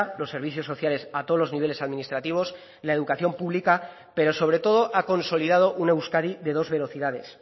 los servicios sociales a todos los niveles administrativos la educación pública pero sobre todo ha consolidado una euskadi de dos velocidades